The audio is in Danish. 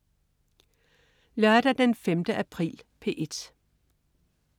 Lørdag den 5. april - P1: